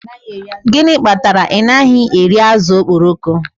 Gịnị kpatara na ị naghị eri azụ̀ okporoko